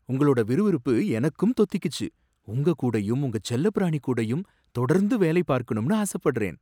உங்களோட விறுவிறுப்பு எனக்கும் தொத்திகிச்சு! உங்க கூடயும் உங்க செல்லப்பிராணி கூடயும் தொடர்ந்து வேலை பார்க்கணும்னு ஆசப்படுறேன்.